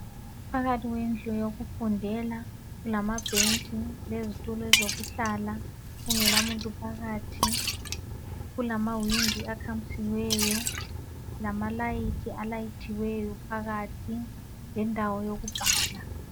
Phakathi kwendlu yokufundela kulamabhentshi lezitulo ezokuhlala kungela muntu phakathi kulamawindi akhamisileyo lamalayithi alayithiweyo phakathi lendawo yokubhala.